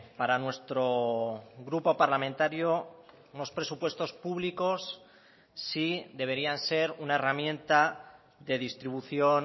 para nuestro grupo parlamentario unos presupuestos públicos sí deberían ser una herramienta de distribución